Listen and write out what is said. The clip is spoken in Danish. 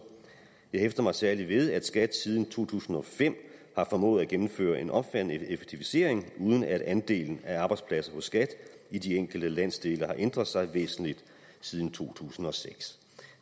jeg hæfter mig særligt ved at skat siden to tusind og fem har formået at gennemføre en omfattende effektivisering uden at andelen af arbejdspladser hos skat i de enkelte landsdele har ændret sig væsentligt siden to tusind og seks